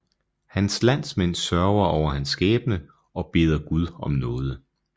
Hans landsmænd sørger over hans skæbne og beder Gud om nåde